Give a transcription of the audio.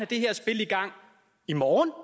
det her spil i gang i morgen